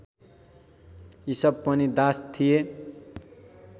इसप पनि दास थिए